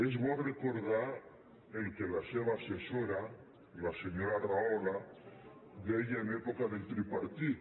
és bo recordar el que la seva assessora la senyora rahola deia en època del tripartit